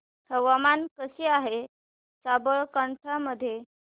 हवामान कसे आहे साबरकांठा मध्ये